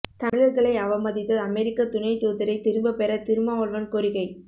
தமிழர்களை அவமதித்த அமெரிக்க துணை தூதரைத் திரும்பப் பெற திருமாவளவன் கோரிக்கை